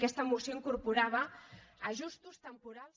aquesta moció incorporava ajustos temporals